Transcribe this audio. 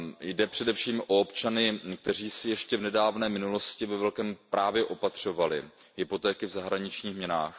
Jde především o občany, kteří si ještě v nedávné minulosti ve velkém opatřovali hypotéky v zahraničních měnách.